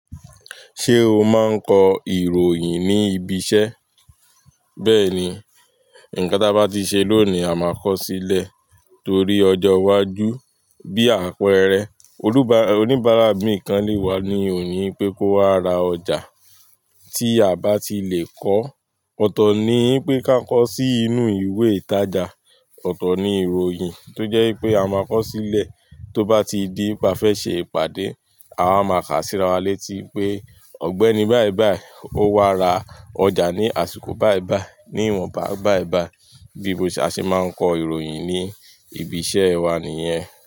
Ṣé o máa ń kọ ìròyìn ní ibi iṣẹ́? Bẹ́ẹ̀ni, ǹkan tá bá ti ṣe lónìí a máa kọ sílẹ̀ torí ọjọ́ iwájú bí àpẹẹrẹ oníbàárà mi i gan lè wá ní òní pé kó wa ra ọjà tí a bá ti le kọ́. Ọ̀tọ̀ ni i pé ká kọ sí inú ìwé ìtajà, ọ̀tọ̀ ni ìròyìn tó jẹ́ pé a máa kọ sílẹ̀ tó bá ti di pé a fẹ́ ṣe ìpàdé, àwa máa kà síra wa létí pé Ọ̀gbẹ́ni báì báì ó wá ra ọjà ní àsìkò báì báì, ní ìwọnba báì báì. Bí mo ṣe a ṣe máa ń kọ ìròyìn ní ibi iṣẹ́ wa nìyẹn.